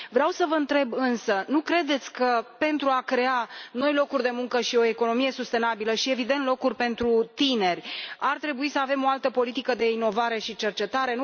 Vreau să vă întreb însă nu credeți că, pentru a crea noi locuri de muncă și o economie sustenabilă și, evident, locuri pentru tineri, ar trebui să avem o altă politică de inovare și cercetare?